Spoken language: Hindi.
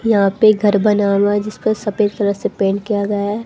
यहां पे घर बना हुआ है जिस पर सफेद कलर से पेंट किया गया है।